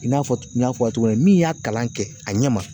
I n'a fɔ n y'a fɔ aw ye cogo min na min y'a kalan kɛ a ɲɛ ma